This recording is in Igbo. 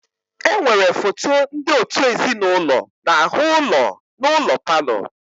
Enwere foto ndị òtù ezinụlọ n'ahụ ụlọ n'ụlọ palọ.